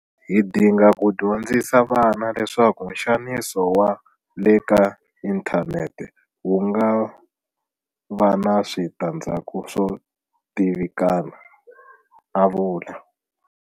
Hi dinga ku dyondzisa vana leswaku nxaniso wa le ka inthanete wu nga va na switandzhaku swo tivikana a vula.